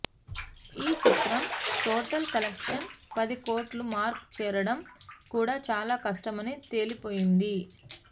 ఈ చిత్రం total collections పది కోట్ల మార్కు చేరడం కూడా చాలా కష్టమని తేలిపోయింది